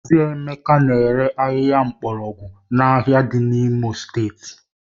Mazị Emeka na-ere ahịhịa mgbọrọgwụ a n'ahịa dị n'Imo steeti